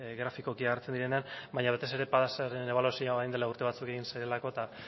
grafikoki hartzen direnean baina batez ere padasaren ebaluazioa orain dela urte batzuk egin zelako eta